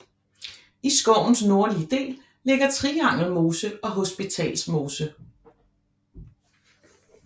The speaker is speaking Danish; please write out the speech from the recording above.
I skovens nordlige del ligger Triangel mose og Hospitals mose